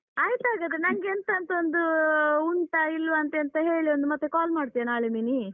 ಆಯ್ತಾಗಾದ್ರೆ ನಂಗೆಂತ ಅಂತ ಒಂದು, ಉಂಟಾ ಇಲ್ವಾ ಅಂತ ಎಂತ ಹೇಳಿ ಒಂದು ಮತ್ತೆ call ಮಾಡ್ತೀಯ ನಾಳೆ ಮಿನಿ.